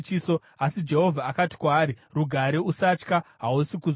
Asi Jehovha akati kwaari, “Rugare! Usatya. Hausi kuzofa.”